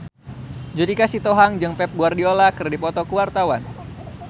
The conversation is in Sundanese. Judika Sitohang jeung Pep Guardiola keur dipoto ku wartawan